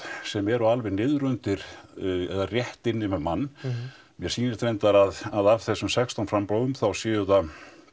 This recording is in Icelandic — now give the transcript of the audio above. sem eru alveg niðri undir eða rétt inni með mann mér sýnist reyndar að að af þessum sextán framboðum þá séu það